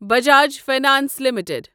Bajaj finance limited